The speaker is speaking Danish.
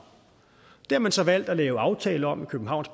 det har man så valgt at lave en aftale om i københavns